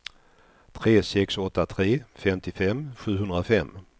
tre sex åtta tre femtiofem sjuhundrafem